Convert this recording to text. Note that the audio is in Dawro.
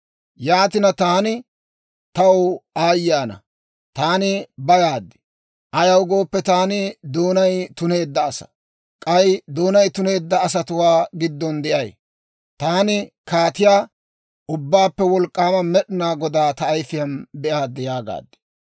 Yaatina, taani, «Taw aayye ana! Taani bayaad; ayaw gooppe, taani doonay tuneedda asaa; k'ay doonay tuneedda asatuwaa giddon de'ay; taani Kaatiyaa, Ubbaappe Wolk'k'aama Med'inaa Godaa ta ayifiyaan be'aad» yaagaad.